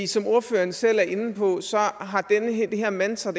som ordføreren selv er inde på har det her mantra